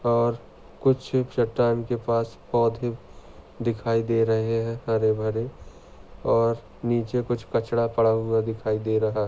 और कुछ चट्टान के पास पौधे दिखाई दे रहे है हरे-भरे और नीचे कुछ कचड़ा पड़ा हुआ दिखाई दे रहा--